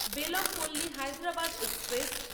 Bellampalli Hyderabad express